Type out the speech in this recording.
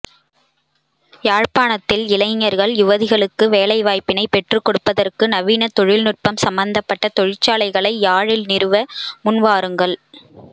யாழ்ப்பாணத்தில் இளைஞர்கள் யுவதிகளுக்கு வேலைவாய்ப்பினை பெற்றுக்கொடுப்பதற்கு நவீன தொழில்நுட்பம் சம்மந்தப்பட்ட தொழிற்சாலைகளை யாழில் நிறுவ முன்வாருங்கள்